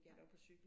Nej